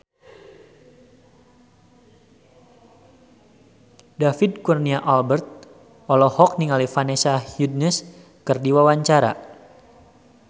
David Kurnia Albert olohok ningali Vanessa Hudgens keur diwawancara